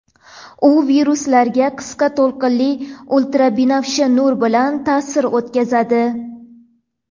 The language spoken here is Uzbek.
U viruslarga qisqa to‘lqinli ultrabinafsha nur bilan ta’sir o‘tkazadi.